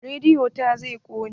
Rediyon ta zai ƙone.